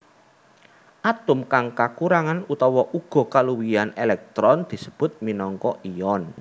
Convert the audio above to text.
Atom kang kakurangan utawa uga kaluwihan èlèktron disebut minangka ion